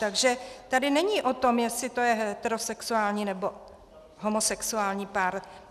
Takže to není o tom, jestli to je heterosexuální nebo homosexuální pár.